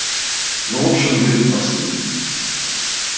ну в общем блин прости меня